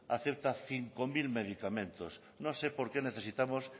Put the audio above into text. acepta cinco mil medicamentos no sé por qué necesitamos